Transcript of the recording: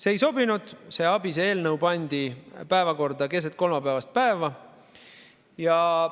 See ei sobinud, see ABIS‑e eelnõu pandi päevakorda keset kolmapäevast päeva.